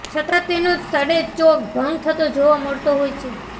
છતાં તેનો છડેચોક ભંગ થતો જોવા મળતો હોય છે